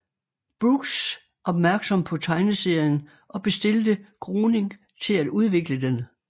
Brooks opmærksom på tegneserien og bestilte Groening til at udvikle den